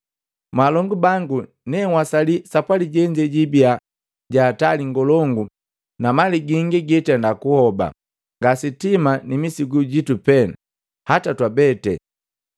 “Mwaalongu bango, ne nhwasali sapwali jenze jiibia jahatali ngolongu na mali gingi hitenda kuhoba, nga sitima ni misigu jitu pee, na hataa twabete.”